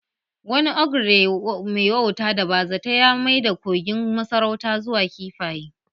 Wani ogre mai wauta da bazata ya maida kogin masarauta zuwa kifaye